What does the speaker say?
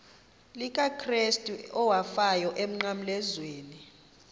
likakrestu owafayo emnqamlezweni